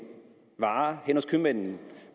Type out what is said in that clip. varer henne hos købmanden